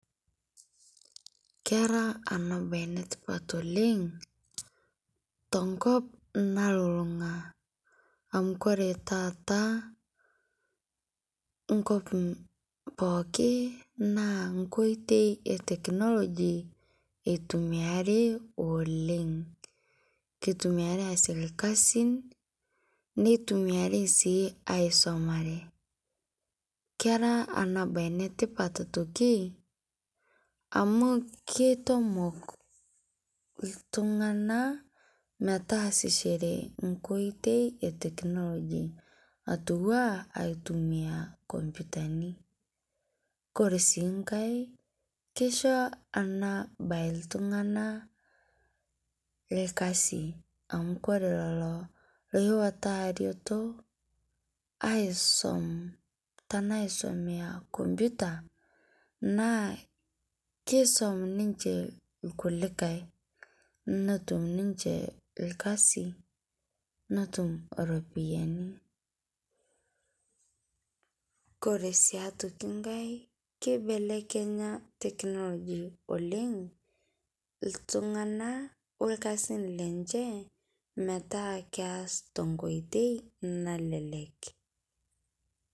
Keraa ana baye netipaat oleng' to nkop nalulung'a amu kore taata nkop pooki na nkotei e teknolojia etumiari oleng'. Ketumiari aasie lkasin netumiari aisomore. Keraa ana baye netipat aitokii amu keitomook ltung'ana metaasishore nkotei e teknoloji atua aitumia kompyutani. Kore sii nkaai keishoo ana baye ltung'ana lkasi amu kore leloo loiwataa retoo aisum tana aisomea kompyuta naa keisom ninchee lkulikai netuum ninchee lkasi netuum ropiani. Kore sii aitokii nkaai keibelekenya teknoliji oleng' ltung'ana olkasin lenchee metaa keas to nkotei nalelek.